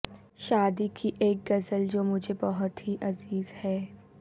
شاد کی ایک غزل جو مجھے بہت ہی عزیز ہے